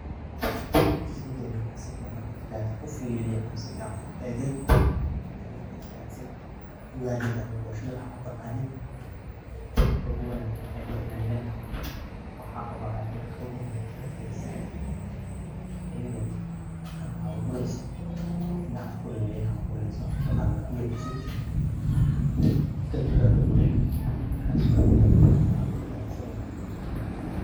Sheygani markaan sifiican u firiye ama sifiican u eegay ,waxey iila ekaatay ugali da ama boshada waxaaad utaqanid. Qabka ogu wanaagsan ee loo ilaaliya na waxaa waye marka ogu horeyso aad karisid ayada oo qandac oo bureyso in aad kululeyso waxa aad utaqaano in aad ku ridid kadib aad dawoshid, markaas aad ,qabka ugu wanaagsan waye.